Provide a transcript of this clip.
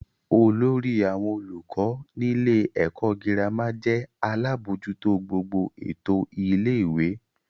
Olórí àwọn olùkọ́ nílé ẹ̀kọ́ girama jẹ́ alábójútó gbogbo ètò ilé-ìwé.